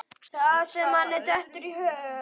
Það sem manni dettur í hug!